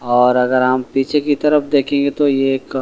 और अगर हम पीछे की तरफ देखेंगे तो ये एक--